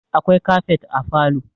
akwai kafet a falo